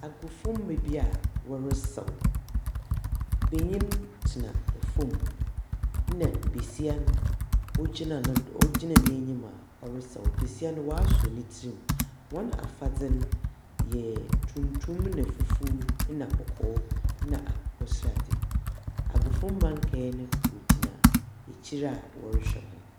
Agufomma bi a wɔresau. Benyin gyina fom nna besia ogyina nenim a ɔresau. Besia no, waasɔ netrim. Wɔn afadi yɛ tuntum na fufuo nna kɔkɔɔ nna akukɔsradi. Agufomma nkɛi no, wogyina ekyi a wɔɔhwɛ wɔn.